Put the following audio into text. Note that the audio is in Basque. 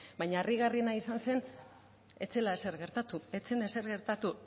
baina harrigarriena izan zen zela ezer gertatu ez zen ezer gertatu